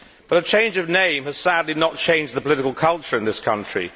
The change of name has sadly not changed the political culture in this country.